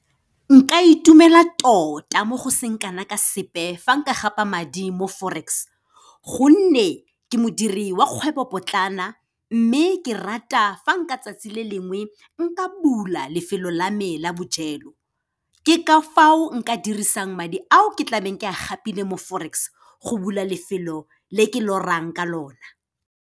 Nka itumela tota mo go seng kana ka sepe fa nka gapa madi mo Forex, gonne ke modiri wa kgwebopotlana mme ke rata fa nka tsatsi le lengwe nka bula lefelo la me la bojelo, ke ka fao nka dirisang madi ao ke tlabeng ke a gapile mo Forex, go bula lefelo le ke lorang ka lona.